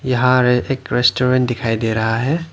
यहां एक रेस्टोरेंट दिखाई दे रहा है।